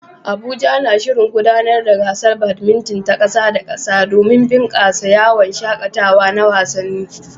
Abuja na shirin gudanar da gasar badminton ta ƙasa da ƙasa domin bunƙasa yawon shaƙatawa na wasanni.